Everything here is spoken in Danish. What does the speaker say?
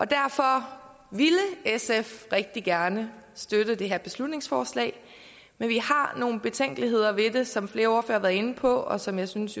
derfor ville sf rigtig gerne støtte det her beslutningsforslag men vi har nogle betænkeligheder ved det som flere ordførere har været inde på og som jeg synes